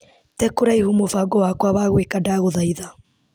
Tee kũraihu mũbango wakwa wa gwĩka ndagũthaitha .